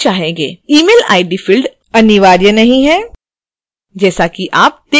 email id field अनिवार्य नहीं है जैसा कि आप देख सकते हैं